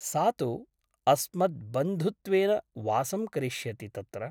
सा तु अस्मद्वन्धुत्वेन वासं करिष्यति तत्र ।